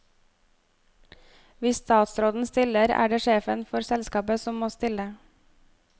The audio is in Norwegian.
Hvis statsråden stiller, er det sjefen for selskapet som må stille.